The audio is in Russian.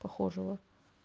похожего